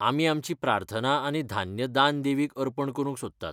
आमी आमची प्रार्थना आनी धान्य दान देवीक अर्पण करूंक सोदतात.